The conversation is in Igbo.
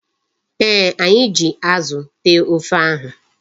Ee, anyi ji Azu tee ofe ahu